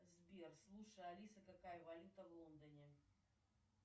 сбер слушай алиса какая валюта в лондоне